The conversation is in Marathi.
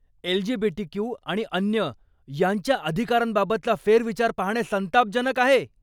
एलजीबीटीक्यु आणि अन्य यांच्या अधिकारांबाबतचा फेरविचार पाहणे संतापजनक आहे.